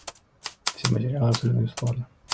все материалы абсолютно бесплатно